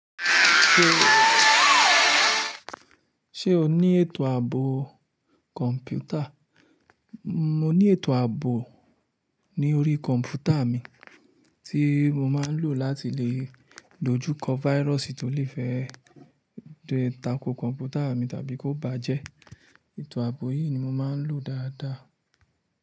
Ṣé o ní ètò ààbò kọ̀ǹpútà? Mo ní ètò ààbò ní orí kọ̀ǹpútà mi tí mo máa ń lò láti lè dojú kọ virus tí ó lè fẹ́ takò kọ̀ǹpútà mi tàbí kó bàjẹ́. Ètò ààbò yìí ni mo máa ń lò dáadáa.